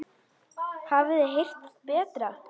Hafið þið heyrt það betra?